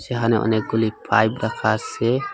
যেহানে অনেকগুলি পাইপ রাখা আসে ।